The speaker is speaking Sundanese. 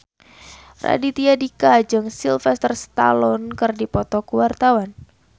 Raditya Dika jeung Sylvester Stallone keur dipoto ku wartawan